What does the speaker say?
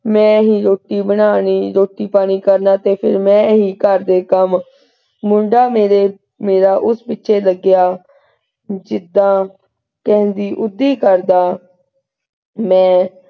ਮੈਂ ਮੈਂ ਹੀ ਰੋਟੀ ਬਣਾਉਣੀ ਰੋਟੀ ਪਾਣੀ ਕਰਨਾ ਤੇ ਫਿਰ ਮੈਂ ਹੀ ਘਰ ਦੇ ਕੰਮ। ਮੁੰਡਾ ਮੇਰੇ ਮੇਰਾ ਉਸ ਪਿੱਛੇ ਲੱਗਿਆ ਜਿੱਦਾਂ ਕਹਿੰਦੀ ਕਰਦਾ ਮੈਂ,